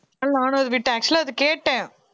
நானும் அதை விட்டு actual ஆ அதை கேட்டேன்